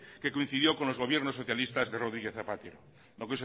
que coincidió con los gobierno socialistas de rodríguez zapatero